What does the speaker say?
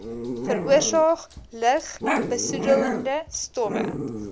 veroorsaak lugbesoedelende stowwe